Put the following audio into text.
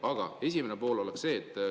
Aga esimene pool on see.